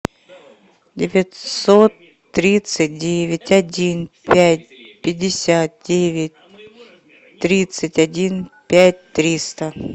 девятьсот тридцать девять один пять пятьдесят девять тридцать один пять триста